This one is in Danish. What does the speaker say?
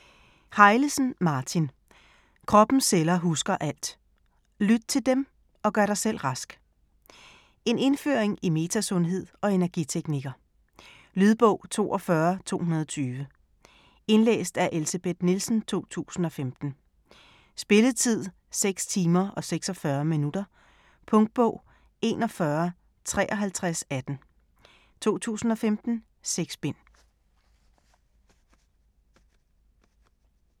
Hejlesen, Martin: Kroppens celler husker alt: lyt til dem, og gør dig selv rask En indføring i metasundhed og energiteknikker. Lydbog 42220 Indlæst af Elsebeth Nielsen, 2015. Spilletid: 6 timer, 46 minutter. Punktbog 415318 2015. 6 bind.